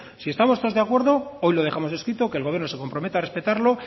si estamos todos de acuerdo hoy lo dejamos escrito que el gobierno se compromete a respetarlo